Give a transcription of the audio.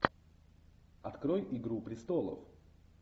открой игру престолов